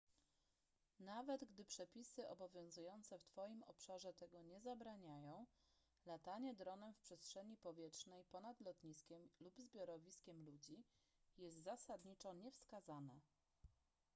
nawet gdy przepisy obowiązujące w twoim obszarze tego nie zabraniają latanie dronem w przestrzeni powietrznej ponad lotniskiem lub zbiorowiskiem ludzi jest zasadniczo niewskazane